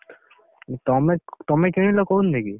ତମେ ତମେ କିଣିଲ